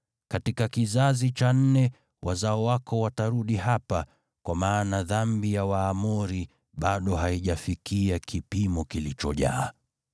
Katika kizazi cha nne wazao wako watarudi hapa, kwa maana dhambi ya Waamori bado haijafikia kipimo kilichojaa.”